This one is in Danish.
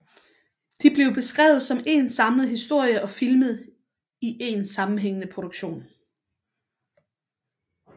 De blev skrevet som én samlet historie og filmet i en sammenhængende produktion